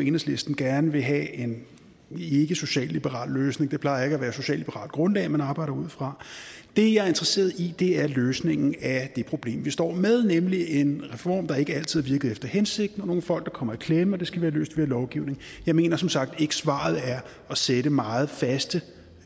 enhedslisten gerne vil have en ikkesocialliberal løsning det plejer ikke at være et socialliberalt grundlag man arbejder ud fra det jeg er interesseret i er løsningen af det problem vi står med nemlig en reform der ikke altid har virket efter hensigten og nogle folk der kommer i klemme og det skal vi have løst ved lovgivning jeg mener som sagt ikke at svaret er at sætte meget faste